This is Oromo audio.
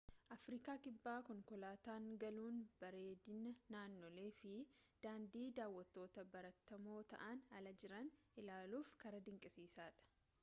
afriikaa kibbaa konkoolaataan galuun bareedina naannolee fi daandii daawwattootaan baratamoo ta'an ala jiran ilaaluuf karaa dinqisiisaa dha